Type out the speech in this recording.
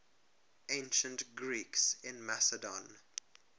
ancient greeks in macedon